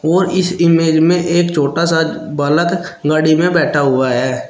और इस इमेज में एक छोटा सा बालक गाड़ी में बैठा हुआ है।